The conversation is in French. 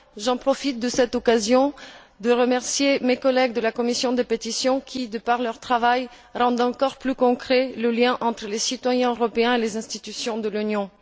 Je profite de cette occasion pour remercier mes collègues de la commission des pétitions qui, de par leur travail, rendent encore plus concret le lien entre les citoyens européens et les institutions de l'Union.